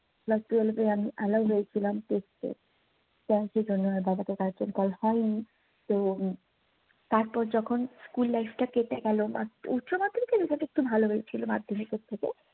class twelve আমি allowed হয়েছিলাম test এ, কারন সেজন্য আর বাবাতো গার্জিয়ান কল হয়নি তো তারপর যখন স্কুল লাইফটা কেটে গেলো but উচ্চমাধ্যমিকের রেজাল্ট একটু ভালো হয়েছিলো মাধ্যমিকের থেকে